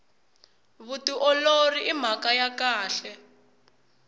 vutiolori i mhaka ya kahle